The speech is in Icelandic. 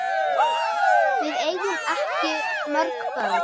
Við eigum ekki mörg börn.